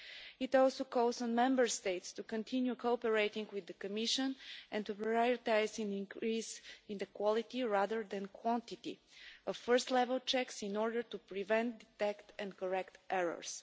It also calls on Member States to continue cooperating with the Commission and to prioritise an increase in the quality, rather than quantity, of first level checks in order to prevent, detect and correct errors.